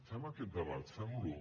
fem aquest debat fem lo